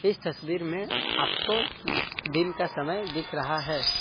इस तस्वीर में आपको दिन का समय दिख रहा है।